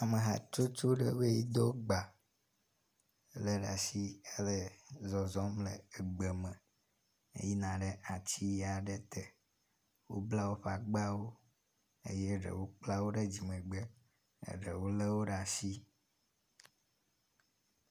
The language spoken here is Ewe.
amehatsotsoɖewoe dó gba le ɖasi hele zɔzɔm le egbe me eyina ɖe atiaɖe te wóbla wóƒagbawo eye ɖewo kplɛ ɖe dzimegbe eɖewo léwó ɖe asi